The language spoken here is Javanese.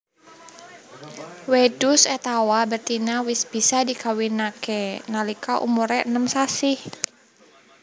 Wedhus étawa betina wis bisa dikawinake nalika umure enem sasi